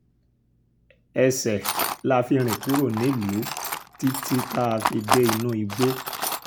ẹṣẹ̀ la fi rìn kúrò nílùú títí tá a fi dé inú igbó